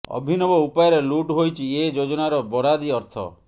ଅଭିନବ ଉପାୟରେ ଲୁଟ ହୋଇଛି ଏ ଯୋଜନାର ବରାଦି ଅର୍ଥ